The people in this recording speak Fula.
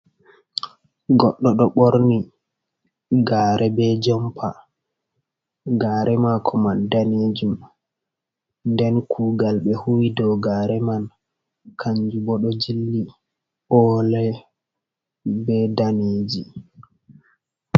Goɗɗo ɗo ɓorni gare be jompa. Gare mako man danejum, nden kugal ɓe huuwi dow gare man kanju bo ɗo jilli o'le, be daneji.